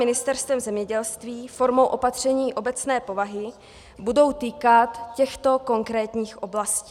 Ministerstvem zemědělství formou opatření obecné povahy budou týkat těchto konkrétních oblastí: